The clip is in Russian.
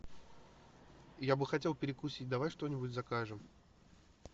я бы хотел перекусить давай что нибудь закажем